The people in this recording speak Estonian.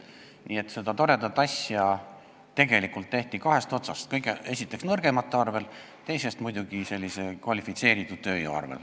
Nii et seda toredat asja tehti kahest otsast: esiteks nõrgemate arvel ja teiseks muidugi kvalifitseeritud tööjõu arvel.